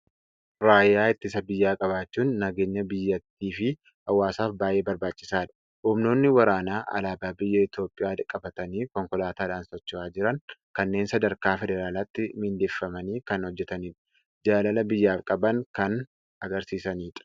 Raayyaa ittisa biyyaa qabaachuun nageenya biyyattii fi hawaasaaf baay'ee barbaachisaadha! Humnoonni waraanaa alaabaa biyya Itoophiyaa qabatanii, konkolaataadhaan socho'aa jiran kunneen sadarkaa Federaalaatti miindeffamanii kan hojjetanidha. Jaalala biyyaaf qaban kan argisiisanidha.